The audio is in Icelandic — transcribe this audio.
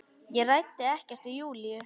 Ég ræddi ekkert við Júlíu.